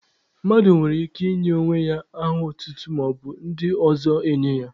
Mmadụ nwere ike inye onwe ya aha otutu, maọbụ ndị ọzọ enye ya.